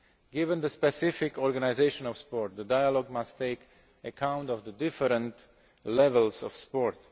Given the specific organisation of sport, the dialogue must take account of the different levels of sport.